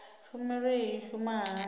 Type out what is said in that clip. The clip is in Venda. tshumelo iyi i shuma hani